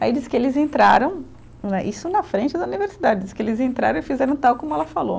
Aí diz que eles entraram né, isso na frente da universidade, diz que eles entraram e fizeram tal como ela falou.